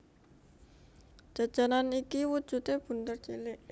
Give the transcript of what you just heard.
Jajanan iki wujudé bunder cilik